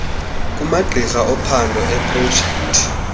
kumagqiza ophando eeprojekthi